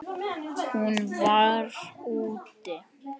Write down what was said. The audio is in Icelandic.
Hún var: úti.